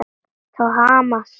Thomas, já.